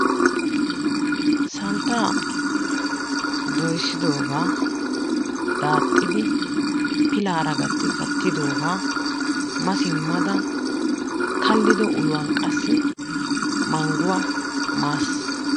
Santtaa doyssidoogaa daaxxidi pilaara gatti kattidogaa ma simada kaliddo uluwan qassi manguwa maasi.